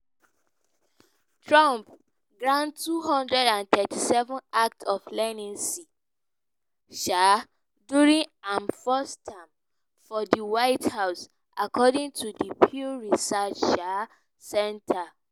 trump grant 237 acts of leniency um during im first term for di white house according to di pew research um center.